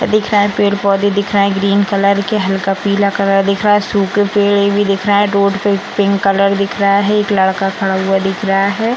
दिख रहा है पेड़-पौधे दिख रहे हैं ग्रीन कलर के हल्का पीले कलर दिख रहा है सूखे पेड़ें भी दिख रहे हैं रोड पे एक पिंक कलर भी दिख रहा है एक लड़का खड़ा हुआ दिख रहा है।